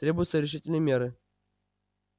требуются решительные меры